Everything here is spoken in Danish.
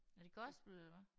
Er det gospel eller hvad?